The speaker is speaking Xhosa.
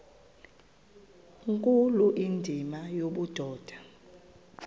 nkulu indima yobudoda